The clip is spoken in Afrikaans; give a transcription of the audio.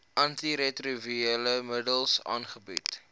antiretrovirale middels aangebied